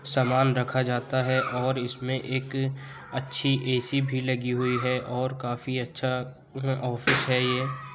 सामान रखा जाता है और इसमें एक अच्छी ए_सी भी लगी हुई है और काफी अच्छा ऑफिस है ये।